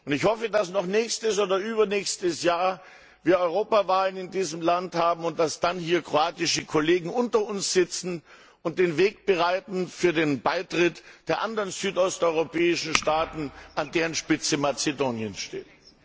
Ich hoffe, dass noch nächstes oder übernächstes Jahr in diesem Land Europawahlen stattfinden können und dass dann hier kroatische Kollegen unter uns sitzen und den Weg bereiten für den Beitritt der anderen südosteuropäischen Staaten, an deren Spitze Mazedonien steht.